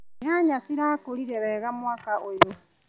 Nyanya cirakũrire wega mwaka ũyũ.